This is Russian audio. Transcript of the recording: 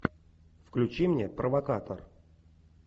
включи мне провокатор